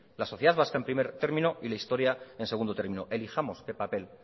la sociedad vasca en primer término y la historia en segundo término elijamos qué papel